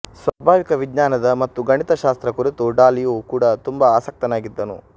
ಸ್ವಾಭಾವಿಕ ವಿಜ್ಞಾನದ ಮತ್ತು ಗಣಿತಶಾಸ್ತ್ರ ಕುರಿತು ಡಾಲಿಯೂ ಕೂಡಾ ತುಂಬಾ ಆಸಕ್ತನಾಗಿದ್ದನು